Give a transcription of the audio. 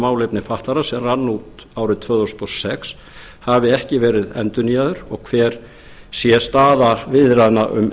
málefni fatlaðra sem rann út árið tvö þúsund og sex hafi ekki verið endurnýjaður og hver sé staða viðræðna um